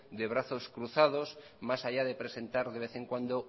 de brazos cruzados más allá de presentar de vez en cuando